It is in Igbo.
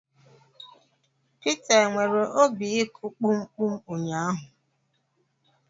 Pita e nwere obi ịkụ kpum kpum ụnyaahụ?